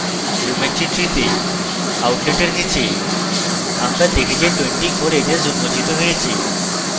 geometry tree তে outlet in নীচে আমরা দেখি যে 24 edges উন্মোচিত হয়েছে